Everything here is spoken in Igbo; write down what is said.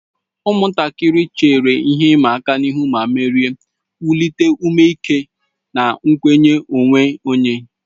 Ụmụntakịrị chere ihe ịma aka ihu ma merie, wulite ume ike na nkwenye onwe onye.